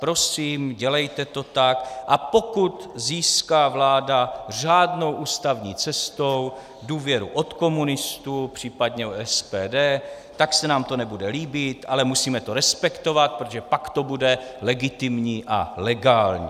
Prosím, dělejte to tak, a pokud získá vláda řádnou ústavní cestou důvěru od komunistů, případně od SPD, tak se nám to nebude líbit, ale musíme to respektovat, protože pak to bude legitimní a legální.